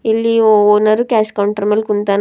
ಇಲ್ಲಿ ಓ- owner cash counter ಮೇಲೆ ಕುಂತಾನ ಮತ್--